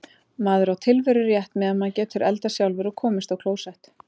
Maður á tilverurétt, meðan maður getur eldað sjálfur og komist á klósett.